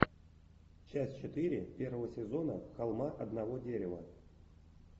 часть четыре первого сезона холма одного дерева